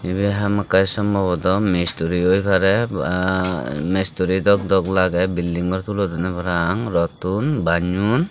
ibey hamakkai sombobotaw mistri oi parey ba mistri dok dok lagey building gor tulodonney parapang rottun banyon.